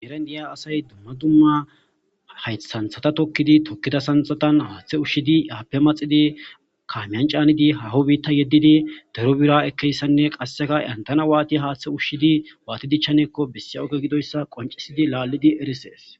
eren diya asay dumma dumma haythanthata tokkidi tokkida sanxatan haaththe ushshidi yaappe maxidi kaamyan caanidi haho biitta yeddidi dero bira ekkeyssanne qasseka yantana waati haaththe ushshidi waati dichchanekko bessi oge gidoyssa qoncisidi laallidi erisees